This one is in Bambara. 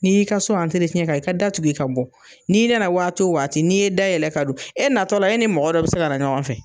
N'i'i ka so i ka da tugu i ka bɔ, n'i nana waatito waati n'i ye da yɛlɛ ka don e natɔla e ni mɔgɔ dɔ bɛ se ka ɲɔgɔn fɛ.